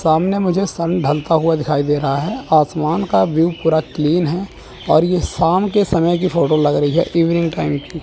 सामने मुझे सन ढलता हुआ दिखाई दे रहा है आसमान का व्यू पूरा क्लीन है और ये शाम के समय की फोटो लग रही है इवनिंग टाइम की।